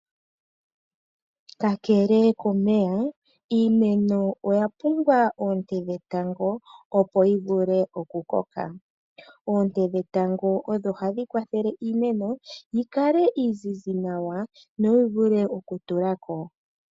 Kakele komeya, iimeno oya pumbwa oonte dhetango opo yi vule okukoka. Oonte dhetango odho hadhi kwathele iimeno yi kale iizizi nawa, no yi vule okutulako.